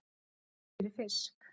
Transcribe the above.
Rennt fyrir fisk.